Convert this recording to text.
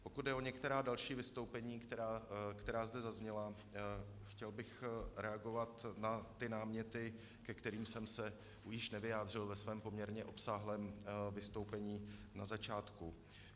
Pokud jde o některá další vystoupení, která zde zazněla, chtěl bych reagovat na ty náměty, ke kterým jsem se již nevyjádřil ve svém poměrně obsáhlém vystoupení na začátku.